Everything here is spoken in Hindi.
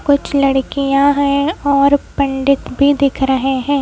कुछ लड़कियां हैं और पंडित भी दिख रहे हैं।